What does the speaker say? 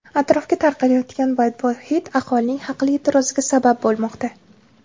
Atrofga tarqalayotgan badbo‘y hid aholining haqli e’tiroziga sabab bo‘lmoqda.